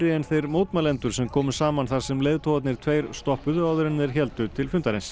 en þeir mótmælendur sem komu saman þar sem leiðtogarnir tveir stoppuðu áður en þeir héldu til fundarins